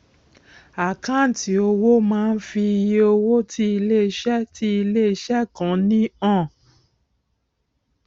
àkáǹtì owó máá ń fi iye owó tí iléeṣẹ tí iléeṣẹ kan ní han